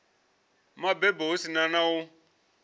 mabebo hu si na u